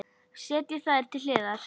Setjið þær til hliðar.